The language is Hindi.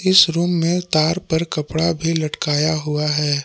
इस रूम में तार पर कपड़ा भी लटकाया हुआ है।